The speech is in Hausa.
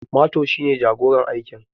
Mato shi ne jagoran aikin